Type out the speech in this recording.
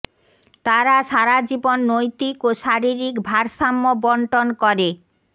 তারা সারা জীবন নৈতিক ও শারীরিক ভারসাম্য বন্টন করে